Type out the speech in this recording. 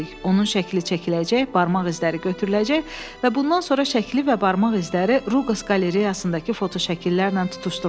Onun şəkli çəkiləcək, barmaq izləri götürüləcək və bundan sonra şəkli və barmaq izləri Ruqas qalereyasındakı fotoşəkillərlə tutuşdurulacaq.